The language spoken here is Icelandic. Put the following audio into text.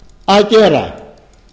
að gera